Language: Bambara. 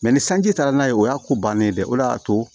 Mɛ ni sanji taara n'a ye o y'a ko bannen ye dɛ o de y'a to